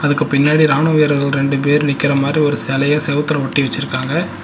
அதுக்கு பின்னாடி ராணுவ வீரர்கள் ரெண்டு பேர் நிக்கற மாரி ஒரு செலைய செவுத்துல ஒட்டி வெச்சுருக்காங்க.